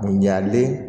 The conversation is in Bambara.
Ɲalen